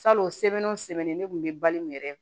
Salon o sɛbɛn o sɛbɛnnen ne kun bɛ bali mun yɛrɛ ye